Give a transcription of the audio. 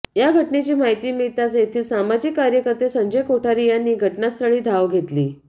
या घटनेची माहिती मिळताच येथील सामाजिक कार्यकर्ते संजय कोठारी यांनी घटनास्थळी धाव घेतली